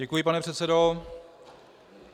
Děkuji, pane předsedo.